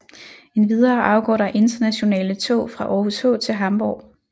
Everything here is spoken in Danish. Endvidere afgår der internationale tog fra Aarhus H til Hamborg